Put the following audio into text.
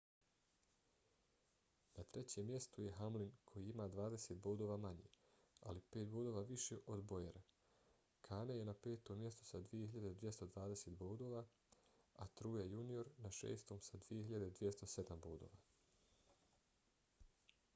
na trećem mjestu je hamlin koji ima dvadeset bodova manje ali pet bodova više od bowyera. kahne je na petom mjestu sa 2.220 bodova a truex jr. na šestom sa 2.207 bodova